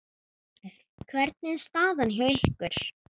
Hvernig er staðan hjá ykkur?